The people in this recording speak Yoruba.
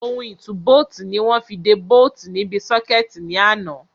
Ohun ìtúbóòtì ni wọ́n fi de bóòtì níbi sọ́kẹ̀tì ní àná.